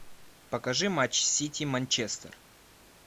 покажи матч сити манчестер